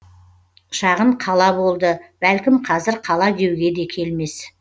шағын қала болды бәлкім қазір қала деуге де келмес